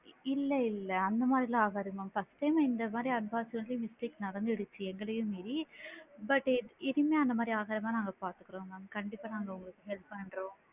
இல்ல இல்ல அந்த மாதிரிலா ஆகாது mam first time இந்த மாதிரி unbox ல வந்து mistake நடந்து இருக்கு எங்களையும் மீறி but இனிமே அந்த மாதிரி ஆகாம நாங்க பாத்துக்குறோம் mam கண்டிப்பா நாங்க உங்களுக்கு help பண்றோம்.